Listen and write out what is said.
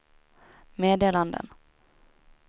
meddelanden